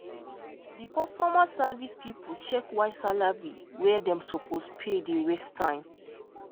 the customer service people check why salary wey dem suppose pay dey waste time